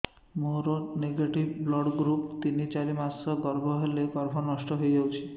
ମୋର negative blood group ତିନ ଚାରି ମାସ ଗର୍ଭ ହେଲେ ଗର୍ଭ ନଷ୍ଟ ହେଇଯାଉଛି